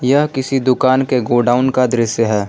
यह किसी दुकान के गोडाउन का दृश्य है।